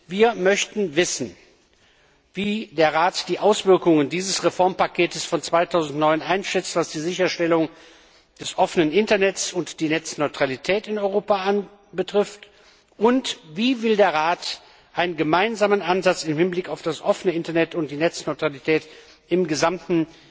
Wir möchten wissen, wie der Rat die Auswirkungen dieses Reformpakets von 2009 auf die Sicherstellung des offenen Internets und der Netzneutralität in Europa einschätzt und wie der Rat einen gemeinsamen Ansatz im Hinblick auf das offene Internet und die Netzneutralität im gesamten